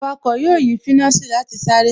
Awakọ̀ yóò yí finasi láti sáré